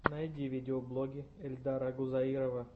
найди видеоблоги эльдара гузаирова